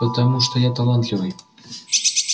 потому что я талантливый